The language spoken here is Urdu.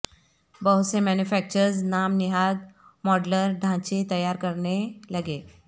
بہت سے مینوفیکچررز نام نہاد ماڈیولر ڈھانچے تیار کرنے لگے